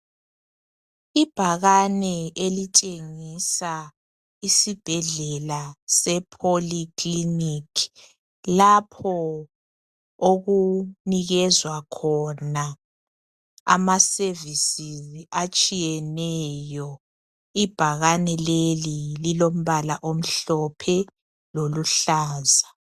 Ibhakane elitshengisa isibhedlela esePolyclinic. Lapho okunikezwa khona amaservices atshiyeneyo. Ibhakane leli lilombala omhlophe, loluhlaza.